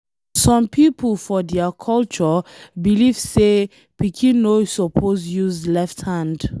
Some people for dia culture believe say pikin no suppose use left hand.